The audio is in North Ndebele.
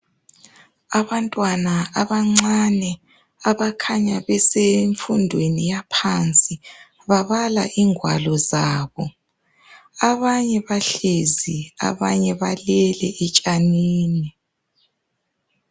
Abantwana abancane abakhanya besemfundweni yaphansi .Babala ingwalo zabo .Abanye bahlezi abanye balele etshanini.